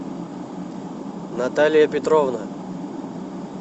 наталья петровна